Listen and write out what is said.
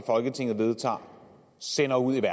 folketinget vedtager sender ud i